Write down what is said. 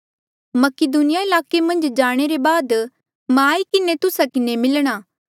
मकीदुनिया ईलाके मन्झ जाणे रे बाद मां आई किन्हें तुस्सा किन्हें मिलणा